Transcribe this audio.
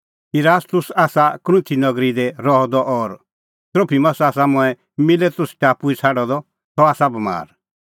इरास्तुस आसा कुरिन्थ नगरी रह द और त्रोफिमस आसा मंऐं मिलेतुस टापू ई छ़ाडअ द सह आसा बमार